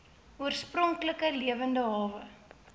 oorspronklike lewende hawe